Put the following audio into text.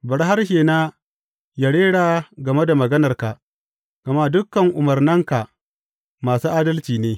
Bari harshena yă rera game da maganarka, gama dukan umarnanka masu adalci ne.